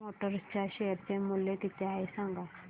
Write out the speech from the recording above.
force Motors च्या share चे मूल्य किती आहे सांगा